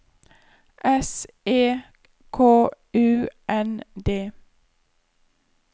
S E K U N D